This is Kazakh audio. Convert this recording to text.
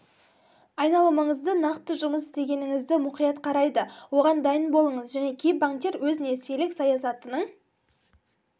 айналымыңызды нақты жұмыс істегеніңізді мұқият қарайды оған дайын болыңыз және кей банктер өз несиелік саясатының